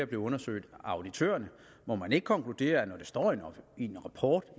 blive undersøgt af auditørerne må man ikke konkludere at når det står i en rapport